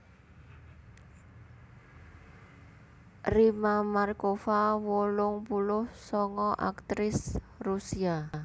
Rimma Markova wolung puluh sanga aktris Rusia